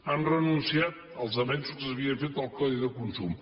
han renunciat als avenços que s’havia fet en el codi de consum